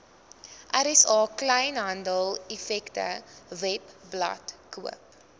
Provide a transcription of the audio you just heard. rsa kleinhandeleffektewebblad koop